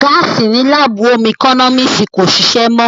Gáàsì ní láàbù ómú ẹkọ́nọ́mísì kò ṣìṣé mọ́